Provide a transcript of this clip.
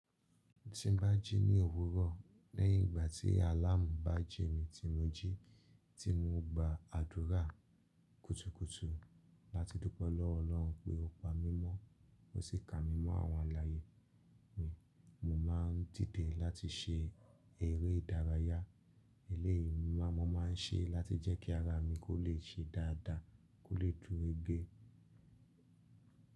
Tí n bá jí ní òwúrọ̀, lẹ́yìn ìgbà tí àláàmú bá jí mi tí mo jí, tí mo gba àdúrà kùtùkùtù láti dúpẹ́ lọ́wọ́ Ọlọ́run pé ó pa mí mọ́, ó sì kà mí mọ́ àwọn alààyè mi, mo máa ń dìdẹ̀ láti se ère ìdárayá eléèyi máa máa ń ṣe láti jẹ́ kí ara mi kó lè ṣe dáadáa, kó lè jurege.